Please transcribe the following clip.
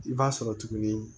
I b'a sɔrɔ tuguni